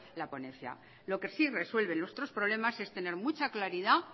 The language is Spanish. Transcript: la ponencia lo que sí resuelve nuestros problemas es tener mucha claridad